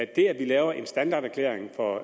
det at vi laver en standarderklæring for